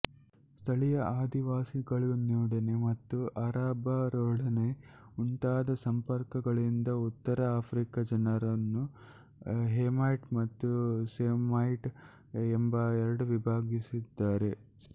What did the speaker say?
ಸ್ಥಳೀಯ ಆದಿವಾಸಿಗಳೊಡನೆ ಮತ್ತು ಅರಬ್ಬರೊಡನೆ ಉಂಟಾದ ಸಂಪರ್ಕಗಳಿಂದ ಉತ್ತರ ಆಫ್ರಿಕ ಜನರನ್ನು ಹೆಮೈಟ್ ಮತ್ತು ಸೈಮೈಟ್ ಎಂದು ವಿಭಾಗಿಸಿದ್ದಾರೆ